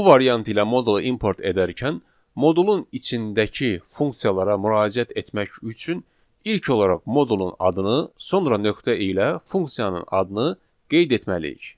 Bu variant ilə modulu import edərkən, modulun içindəki funksiyalara müraciət etmək üçün ilk olaraq modulun adını, sonra nöqtə ilə funksiyanın adını qeyd etməliyik.